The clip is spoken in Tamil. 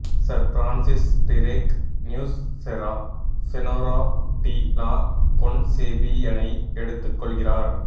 sir Francis Drake Nuestra Senora de la கொன்செபியனை எடுத்துக்கொள்கிறார்